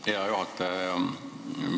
Aitäh, hea juhataja!